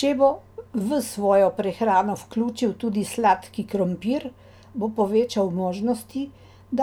Če bo v svojo prehrano vključil tudi sladki krompir, bo povečal možnosti,